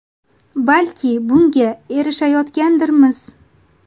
Balki bunga erishayotgandirmiz.